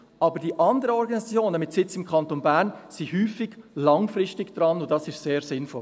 Aber die anderen Organisationen mit Sitz im Kanton Bern sind häufig langfristig dran, und das ist sehr sinnvoll.